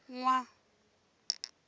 nwa